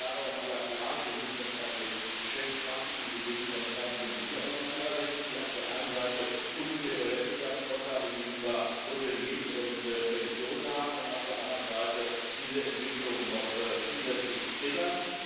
Und ich sage auch in aller Klarheit Wir müssen uns auch mit Geschäftspraktiken wie denen von Airbnb auseinandersetzen, die auf der einen Seite unfaire Wettbewerbsvorteile gegenüber Hoteliers und Pensionen haben und auf der anderen Seite diese Entwicklungen noch zusätzlich triggern.